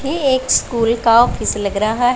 ये एक स्कूल का ऑफिस लग रहा है।